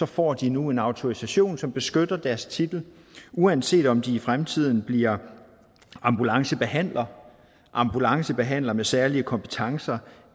får de nu en autorisation som beskytter deres titel uanset om de i fremtiden bliver ambulancebehandler ambulancebehandler med særlige kompetencer